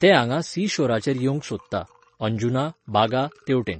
ते हांगा सिशोराचेर येवंक सोदता, अंजुना, बागा, तेवटेन.